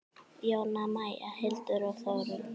Jóna Maja, Hildur og Þórunn.